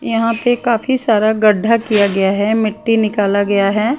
यहाँ पे काफी सारा गड्ढा किया गया है मिट्टी निकाला गया है।